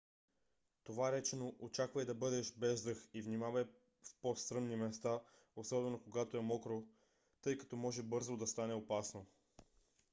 това речено очаквай да бъдеш без дъх и внимавай в по-стръмни места особено когато е мокро тъй като бързо може да стане опасно